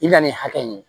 I bɛna nin hakɛ ɲini